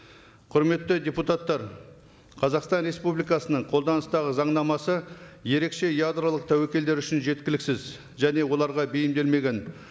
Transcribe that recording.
құрметті депутаттар қазақстан республикасының қолданыстағы заңнамасы ерекше ядролық тәуекелдер үшін жеткіліксіз және оларға бейімделмеген